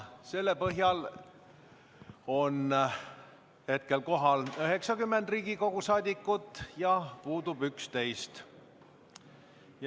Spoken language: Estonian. Kohalolijaks on registreerunud 90 Riigikogu saadikut ja puudub 11.